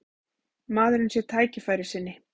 Maðurinn sé tækifærissinni